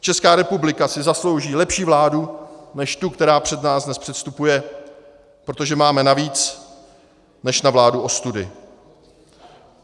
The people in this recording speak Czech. Česká republika si zaslouží lepší vládu než tu, která před nás dnes předstupuje, protože máme na víc než na vládu ostudy.